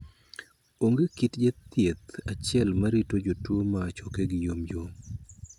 Onge kit jathieth achiel ma rito jotuo ma chokegi yomyom.